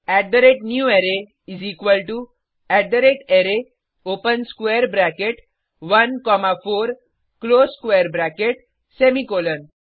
newArray array open square bracket 1 comma 4 close square bracket semicolon